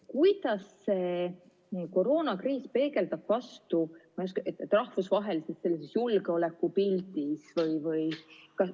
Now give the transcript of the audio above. Kuidas see koroonakriis peegeldub rahvusvahelises julgeolekupildis?